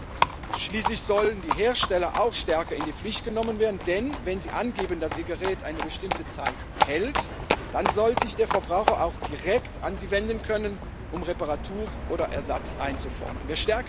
Und drittens Schließlich sollen die Hersteller auch stärker in die Pflicht genommen werden, denn wenn sie angeben, dass ihr Gerät eine bestimmte Zeit hält, dann soll sich der Verbraucher auch direkt an sie wenden können, um Reparatur oder Ersatz einzufordern.